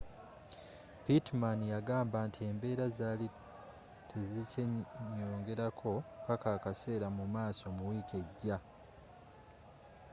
pittman yagamba nti embeera zaali tezikyeeyongerako paka akaseera mumaaso mu wiiki ejja